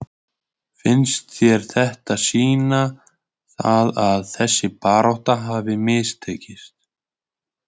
Finnst þér þetta sýna það að þessi barátta hafi mistekist?